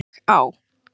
Og á.